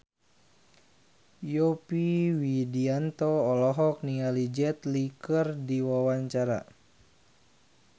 Yovie Widianto olohok ningali Jet Li keur diwawancara